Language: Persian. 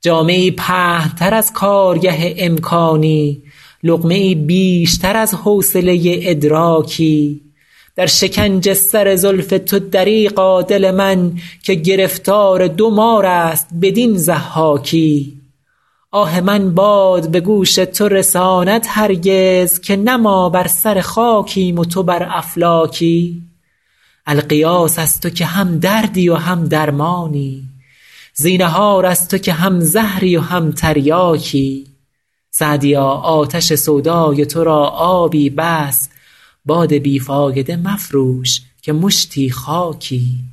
جامه ای پهن تر از کارگه امکانی لقمه ای بیشتر از حوصله ادراکی در شکنج سر زلف تو دریغا دل من که گرفتار دو مار است بدین ضحاکی آه من باد به گوش تو رساند هرگز که نه ما بر سر خاکیم و تو بر افلاکی الغیاث از تو که هم دردی و هم درمانی زینهار از تو که هم زهری و هم تریاکی سعدیا آتش سودای تو را آبی بس باد بی فایده مفروش که مشتی خاکی